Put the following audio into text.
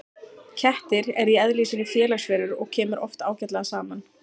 Kettir eru í eðli sínu félagsverur og kemur oft ágætlega saman.